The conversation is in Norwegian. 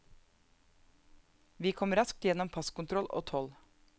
Vi kom raskt gjennom passkontroll og toll.